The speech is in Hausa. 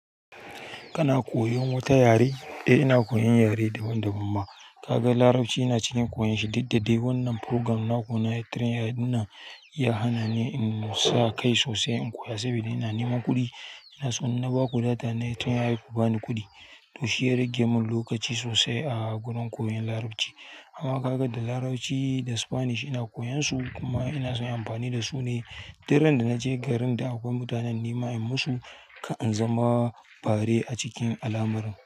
Kana koyon wata yare? Eh ina koyan yare daban daban ma. Kaga Larabci ina cikin koyon shi diddadai dai. Wannan program na ku na train ai, ya hana ni in sa kai sosai in koya saboda ina neman kuɗi. Ina so in ba kuɗi data train ya yi ko ba ni kuɗi. To shi yaragen mun lokaci sosai a gurin koyon Larabci. Amma ka ga da Larabci da Spanish ina koyan su kuma ina son inyi amfani da su ne daren da naje garin da akwai mutanen nima in musu kar in zama bare a cikin alamar.